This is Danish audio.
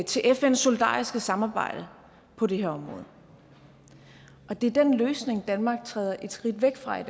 til fns solidariske samarbejde på det her område og det er den løsning danmark træder et skridt væk fra i